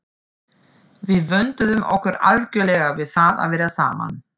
Við vönduðum okkur algjörlega við það að vera saman.